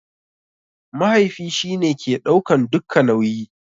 Mahaifi shi ne ke ɗaukan dukka nauyi.